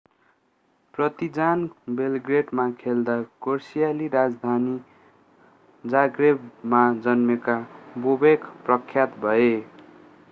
Partizan बेलग्रेडमा खेल्दा क्रोएसियाली राजधानी जाग्रेबमा जन्मेका बोबेक प्रख्यात भए